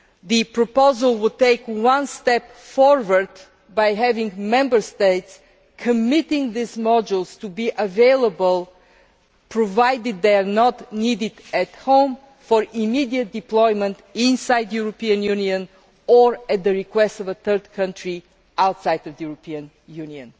The proposal will take one step forward by having Member States commit these modules to be available, provided they are not needed at home, for immediate deployment inside the European Union or at the request of a third country outside of the European Union.